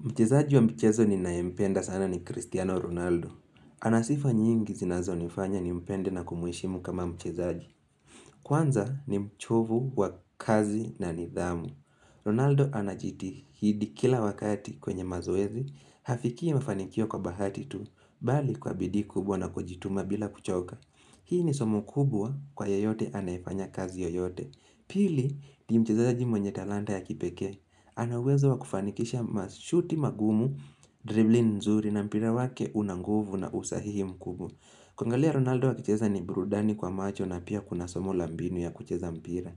Mchezaji wa michezo ni nayempenda sana ni Cristiano Ronaldo. Anasifa nyingi zinazo nifanya ni mpende na kumheshimu kama mchezaji. Kwanza ni mchovu wa kazi na nidhamu. Ronaldo anajiti hidi kila wakati kwenye mazoezi. HafikiI mafanikio kwa bahati tu. Bali kwa bidiI kubwa na kujituma bila kuchoka. Hii ni somo kubwa kwa yeyote anayefanya kazi yoyote. Pili ni mchezaaji mwenye talanta ya kipekee. Ana uwezo wa kufanikisha mashuti magumu, dribling nzuri na mpira wake unanguvu na usahihi mkubu kuangalia Ronaldo akicheza ni burudani kwa macho na pia kuna somo la mbinu ya kucheza mpira